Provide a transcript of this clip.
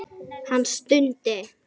Hann stundi.